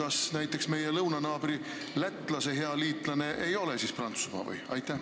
Ja kas näiteks meie lõunanaabri Läti hea liitlane Prantsusmaa ei ole?